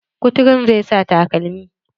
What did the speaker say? Kuturun zai sa takalmi.